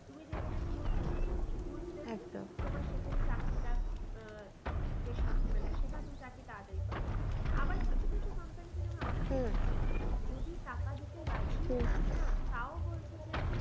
তুমি যেখানে ঘুষ তোমার সেখানে চাকরিটা আহ বেশি মানে সেখানে তুমি চাকরি তাড়াতাড়ি পাবে আবার কিছু কিছু company তে যেমন আমি যদি টাকা দিতে রাজিও থাকি না তাও বলছে যে